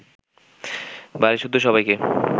বাড়িসুদ্ধ সবাইকে